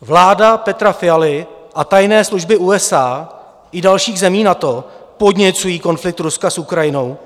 "Vláda Petra Fialy a tajné služby USA i dalších zemí NATO podněcují konflikt Ruska s Ukrajinou.